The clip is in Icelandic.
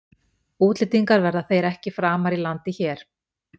Útlendingar verða þeir ekki framar í landi hér.